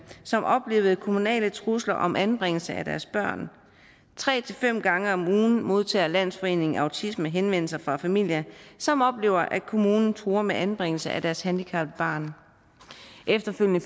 som oplevede kommunale trusler om anbringelse af deres børn tre til fem gange om ugen modtager landsforeningen autisme henvendelser fra familier som oplever at kommunen truer med anbringelse af deres handicappede barn efterfølgende